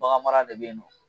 Baganmara de bɛ yen nɔ